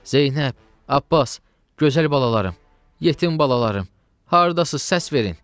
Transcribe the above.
Zeynəb, Abbas, gözəl balalarım, yetim balalarım, hardasız, səs verin!